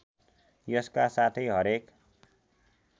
यसका साथै हरेक